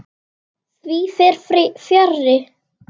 Því fer fjarri.